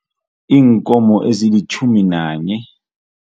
Iinkomo ezilitjhumi nanye.